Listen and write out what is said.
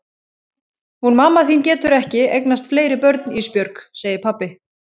Hún mamma þín getur ekki eignast fleiri börn Ísbjörg, segir pabbi.